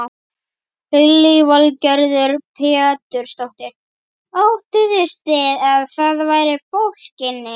Lillý Valgerður Pétursdóttir: Óttuðust þið að það væri fólk inni?